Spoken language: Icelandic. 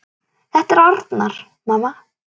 Þetta er Arnar, mamma!